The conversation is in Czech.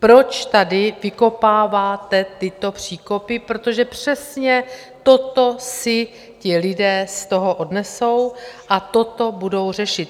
Proč tady vykopáváte tyto příkopy, protože přesně toto si ti lidé z toho odnesou a toto budou řešit.